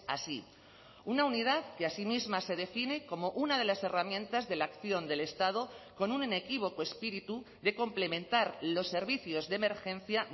así una unidad que así misma se define como una de las herramientas de la acción del estado con un inequívoco espíritu de complementar los servicios de emergencia